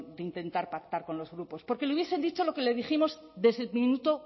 de intentar pactar con los grupos porque le hubiesen dicho lo que le dijimos desde el minuto